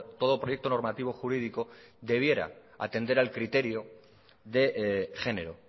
todo proyecto normativo jurídico debiera atender al criterio de género